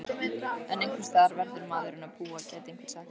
En einhversstaðar verður maðurinn að búa gæti einhver sagt?